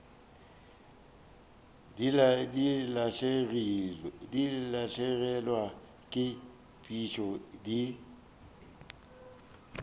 di lahlegelwa ke phišo di